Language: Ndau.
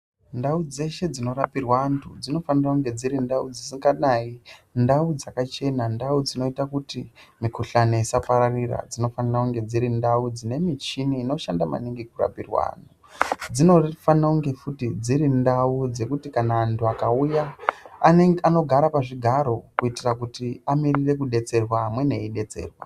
Ndau dzeshe dzinorapirwa antu dzinofanire kunge dziri ndau dzisinganayi, ndau dzakachena, ndau dzinoita kuti mikhuhlani isapararira. Dzinofanira kunge dziri ndau dzine michini inoshanda maningi kurapa antu. Dzinofanire kunge futi dziri ndau dzekuti kana antu akauya anogare pazvigaro kuitira kuti akamirire kudetsera amweni achidetserwa.